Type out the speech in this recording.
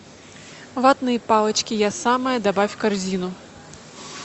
ватные палочки я самая добавь в корзину